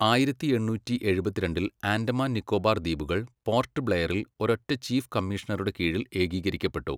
ആയിരത്തി എണ്ണൂറ്റി എഴുപത്തിരണ്ടിൽ ആൻഡമാൻ നിക്കോബാർ ദ്വീപുകൾ പോർട്ട് ബ്ലെയറിൽ ഒരൊറ്റ ചീഫ് കമ്മീഷണറുടെ കീഴിൽ ഏകീകരിക്കപ്പെട്ടു.